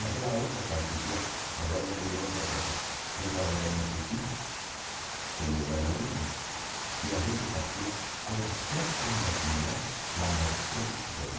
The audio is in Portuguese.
Naquela época existia, agora me lembrei de outra coisa, eu trabalhava na Tupi como bailarino e a gente fazia concertos matinais da Mercedes Benz.